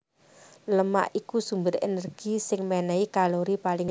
Lemak iku sumber énergi sing ménéhi kalori paling dhuwur